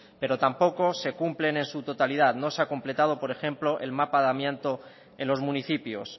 pero tampoco se cumplen en su totalidad no se ha completado por ejemplo el mapa de amianto en los municipios